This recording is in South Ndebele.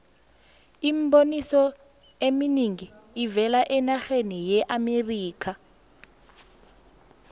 iimboniso ezinengi zivela enarheni yeamerikha